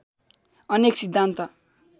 अनेक सिद्धान्त